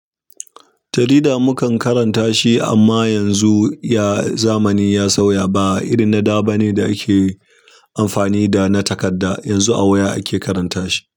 Jarida mukan karanta shi amma yanzu ya zamani ya sauya. Ba irin na da bane da ake amfani da na takarda, yanzu a waya ake karanta shi.